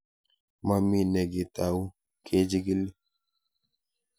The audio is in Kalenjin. Mami ne kikitau kechig'ili